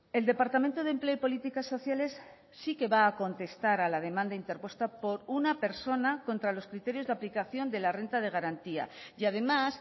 el departamento de empleo y políticas sociales sí que va a contestar a la demanda interpuesta por una persona contra los criterios de aplicación de la renta de garantía y además